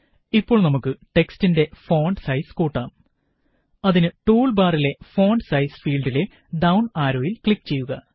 ഇപ്പോള് നമുക്ക് ടെക്സ്റ്റിന്റെ ഫോണ്ട് സൈസ് കൂട്ടാം അതിന് ടൂള് ബാറിലെ ഫോണ്ട് സൈസ് ഫീല്ഡിലെ ഡൌണ് ആരോയില് ക്ലിക്ക് ചെയ്യുക